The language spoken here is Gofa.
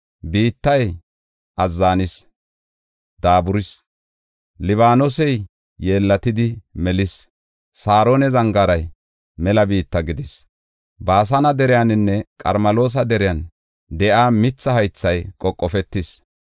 Biittay azzanis; daaburis; Libaanosey yeellatidi melis; Saarona zangaaray mela biitta gidis. Baasane deriyaninne Qarmeloosa deriyan de7iya mitha haythay qoqofetis.